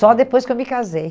Só depois que eu me casei.